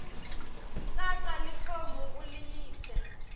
tsatsa lifomu uliyise